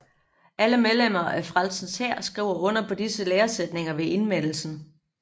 Alle medlemmer af Frelsens Hær skriver under på disse læresætninger ved indmeldelsen